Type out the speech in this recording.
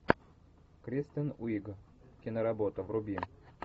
кристен уиг киноработа вруби